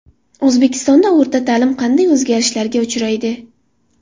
O‘zbekistonda o‘rta ta’lim qanday o‘zgarishlarga uchraydi?.